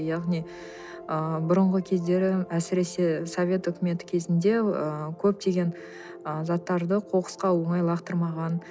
яғни ыыы бұрынғы кездері әсіресе совет үкіметі кезінде ы көптеген ы заттарды қоқысқа оңай лақтырмаған